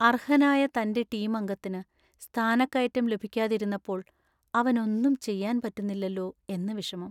അർഹനായ തന്‍റെ ടീം അംഗത്തിന് സ്ഥാനക്കയറ്റം ലഭിക്കാതിരുന്നപ്പോൾ അവനൊന്നും ചെയ്യാൻ പറ്റുന്നില്ലലോ എന്ന വിഷമം.